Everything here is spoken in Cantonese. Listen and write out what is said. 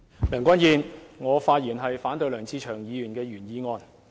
梁君彥，我發言反對梁志祥議員的原議案。